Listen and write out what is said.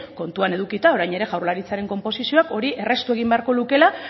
kontuan edukita orain ere jaurlaritzaren konposizioak hori erraztu egin beharko lukeela